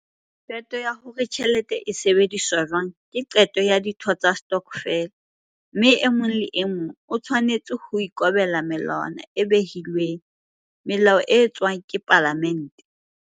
Qeto ya hore tjhelete e sebediswa jwang ke qeto ya ditho tsa stokfele, mme e mong le e mong o tshwanetse ho ikobela melawana e behilweng, melao e etswa ke palamente.